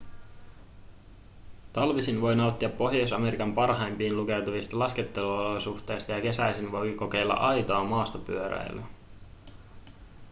talvisin voi nauttia pohjois-amerikan parhaimpiin lukeutuvista lasketteluolosuhteista ja kesäisin voi kokeilla aitoa maastopyöräilyä